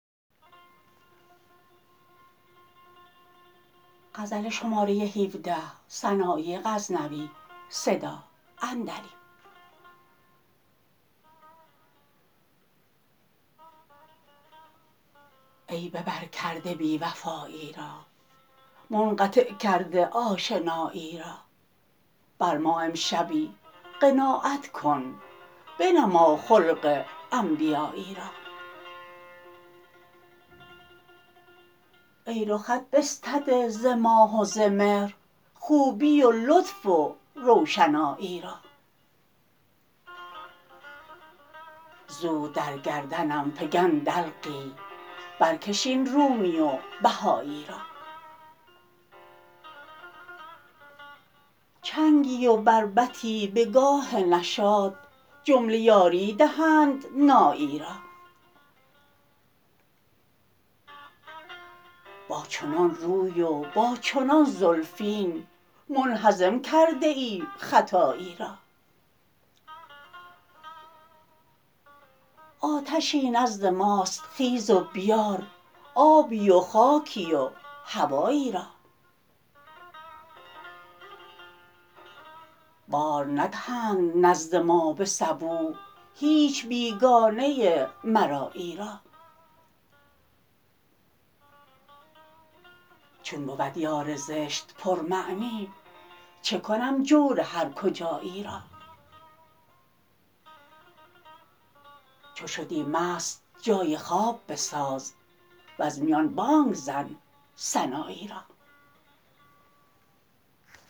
ای به بر کرده بی وفایی را منقطع کرده آشنایی را بر ما امشبی قناعت کن بنما خلق انبیایی را ای رخت بستده ز ماه و ز مهر خوبی و لطف و روشنایی را زود در گردنم فگن دلقی برکش این رومی و بهایی را چنگی و بربطی به گاه نشاط جمله یاری دهند نایی را با چنان روی و با چنان زلفین منهزم کرده ای ختایی را آتشی نزد ماست خیز و بیار آبی و خاکی و هوایی را بار ندهند نزد ما به صبوح هیچ بیگانه مرایی را چون بود یار زشت پر معنی چکنم جور هر کجایی را چو شدی مست جای خواب بساز وز میان بانگ زن سنایی را